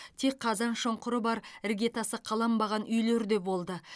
тек қазаншұңқыры бар іргетасы қаланбаған үйлер де болды